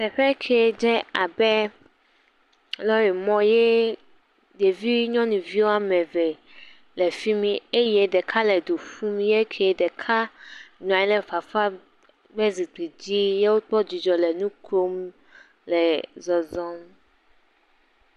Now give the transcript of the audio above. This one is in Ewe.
Teƒe ke dzé abe lɔrimɔ yee, ɖevi nyɔnuvi woame ve le fi mi eye ɖeka le du ƒum. Yee ke ɖeka nɔ anyi lɛ fafa ƒe zikpi dzi ye wokpɔ dzidzɔ le nu kom le zɔzɔm.